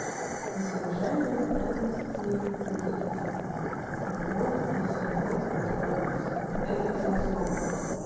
если уважаемые из ценностей будет там любовь есть любовь будет верной вот эти три основы